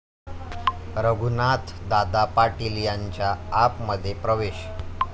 रघुनाथदादा पाटील यांचा 'आप'मध्ये प्रवेश